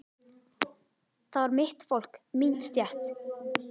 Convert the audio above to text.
Það var mitt fólk, mín stétt.